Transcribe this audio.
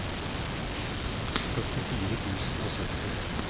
førtifire tusen og sytti